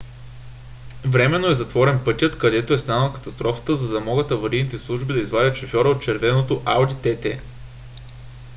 временно е затворен пътят където е станала катастрофата за да могат аварийните служби да извадят шофьора от червеното ауди тт